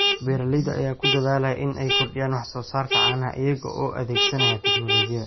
Beeralayda ayaa ku dadaalaya in ay kordhiyaan wax soo saarka caanaha iyaga oo adeegsanaya tignoolajiyada.